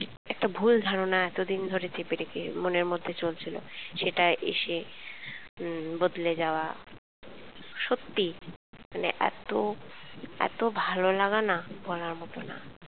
একটা ভুল ধারণা এতদিন ধরে চেপে রেখে মনের মধ্যে চলছিল সেটা এসে উম বদলে যাওয়া সত্যিই মানে এত ভালোলাগা না মানে বলার মত না